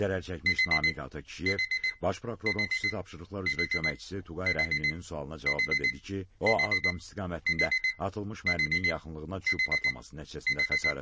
Zərərçəkmiş Namiq Atakişiyev Baş prokurorun xüsusi tapşırıqlar üzrə köməkçisi Tuqay Rəhimlinin sualına cavabda dedi ki, o, Ağdam istiqamətində atılmış mərminin yaxınlığına düşüb partlaması nəticəsində xəsarət alıb.